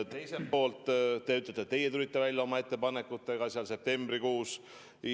Teiselt poolt te ütlete, et teie tulite välja oma ettepanekutega septembrikuus.